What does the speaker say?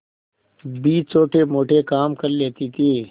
भी छोटेमोटे काम कर लेती थी